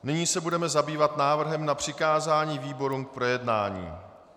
Nyní se budeme zabývat návrhem na přikázání výborům k projednání.